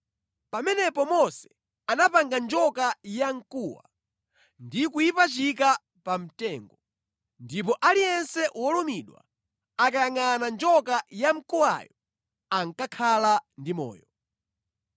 Pamenepo Mose anapanga njoka yamkuwa ndi kuyipachika pa mtengo. Ndipo aliyense wolumidwa akayangʼana njoka yamkuwayo ankakhala ndi moyo.